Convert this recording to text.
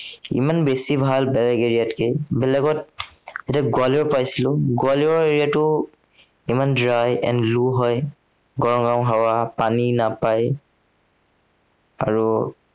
ইমান বেছি ভাল বেলেগ area তকে। বেলেগত এতিয়া গোৱালিয়ৰ পাইছিলো, গোৱালিয়ৰ area টো, ইমান dry and low হয়। গৰম পানী নাপায়। আৰু